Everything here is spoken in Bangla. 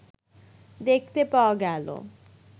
দেখতে পাওয়া গেল